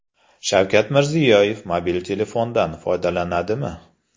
Shavkat Mirziyoyev mobil telefondan foydalanadimi?.